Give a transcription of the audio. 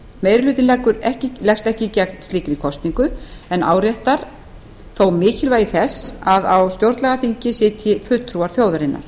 á þing meiri hlutinn leggst ekki gegn slíkri kosningu en áréttar þó mikilvægi þess að á stjórnlagaþingi sitji fulltrúar þjóðarinnar